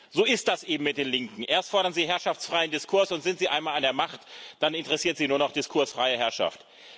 So ist das eben mit den Linken Erst fordern sie herrschaftsfreien Diskurs, und sind sie einmal an der Macht, dann interessiert sie nur noch diskursfreie Herrschaft.